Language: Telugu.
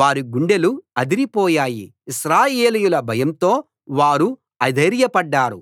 వారి గుండెలు అదిరిపోయాయి ఇశ్రాయేలీయుల భయంతో వారు అధైర్యపడ్డారు